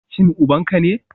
Shin uban ka ne?